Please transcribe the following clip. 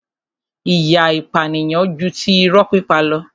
ìyà ìpànìyàn ju ti irọ́ pípa lọ.